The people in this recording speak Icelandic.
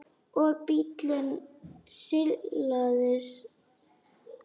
Og bíllinn silast áfram austur.